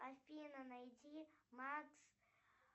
афина найди макс